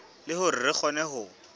le hore re kgone ho